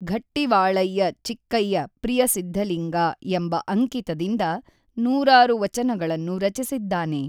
ಘಟ್ಟಿವಾಳಯ್ಯ ಚಿಕ್ಕಯ್ಯ ಪ್ರಿಯ ಸಿದ್ಧಲಿಂಗಾ ಎಂಬ ಅಂಕಿತದಿಂದ ನೂರಾರು ವಚನಗಳನ್ನು ರಚಿಸಿದ್ದಾನೆ.